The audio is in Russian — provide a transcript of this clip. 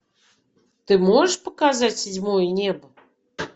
ты можешь показать седьмое небо